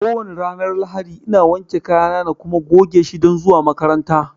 ko wane ranar Lahadi ina wanke kayana na kuma goge shi don zuwa makaranta